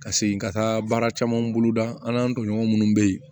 Ka segin ka taa baara caman bolo da an n'an tɔɲɔgɔn minnu bɛ yen